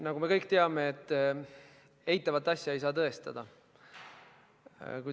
Nagu me kõik teame, eitavat asja ei saa tõestada.